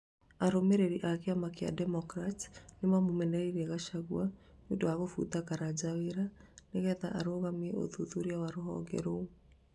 arũmĩrĩri a kĩama kĩa democrats, nĩmamũmenereria gachagua nĩũndũ wa kũbuta Karanja wĩra, nĩgetha arũgamie ũthuthuria wa rũhonge rũu